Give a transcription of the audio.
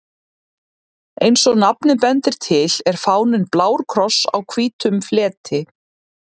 Eins og nafnið bendir til er fáninn blár kross á hvítum fleti.